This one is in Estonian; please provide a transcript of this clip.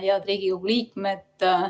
Head Riigikogu liikmed!